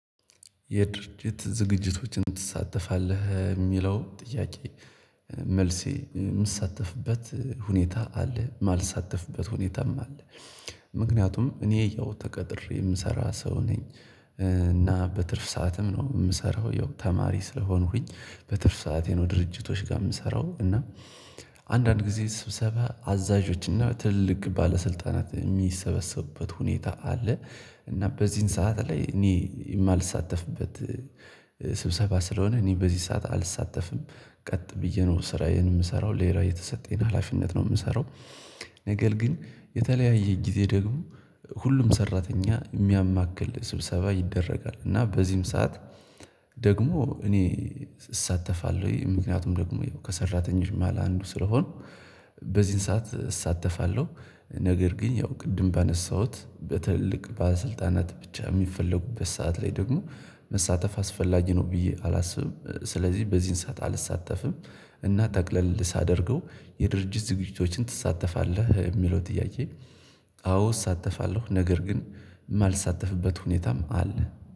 የድርጅት ዝግጅቶችን ትሳተፋለህ የሚለው ጥያቄ? መልሴ የምሳተፍበት ሁኔታ አለ የማልሳተፍበት ሁኔታም አለ። ምክንያቱም እኔ ያው ተቀጥሬ የምሰራ ሰው ነኝ። እና በትርፍ ሰዓትም ነው የምሰራው ያው ተማሪ ስለሆንኩኝ። በትርፍ ሰዓቴ ነው ድርጅቶች ጋር የምሰራው እና። አንዳንድ ጊዜ ስብሰባ አዛዦች እና ትልልቅ ባለስልጣናት የሚሰበሰቡበት ሁኔታ አለ። እና በዚህን ሰዓት ላይ እኔ የማልሳተፍበት ስብሰባ ስለሆነ እኔ በዚህ ሰዓት አልሳተፍም። ቀጥ ብዬ ነው ስራዬን የምሰራው ሌላ የተሰጠኝን ሀላፊነት ነው የምሰራው። ነገር ግን የተለያየ ጊዜ ደግሞ ሁሉም ሰራተኛ የሚያማክል ስብሰባ ይደረጋል። እና በዚህም ሰዓት ደግሞ እኔ እሳተፋለው ምክኒያቱም ደግሞ ከሰራተኞች መሃል አንዱ ስለሆንኩ በዚህን ሰዓት እሳተፋለሁ። ነገር ግን ያው ቅድም ባነሳሁት በትልልቅ ባሰልጣናት ብቻ የሚፈለጉበት ሰዓት ላይ ደግሞ መሳተፍ አስፈላጊ ነው ብዬ አላስብም። ስለዚህ በዚህን ሰዓት አልሳተፍም። እና ተቅለል ሳደርገው የድርጅት ዝግጅቶችን ትሳተፋለህ የሚለው ጥያቄ? አዎ እሳተፋለሁ ነገር ግን የማልሳተፍበት ሁኔታም አለ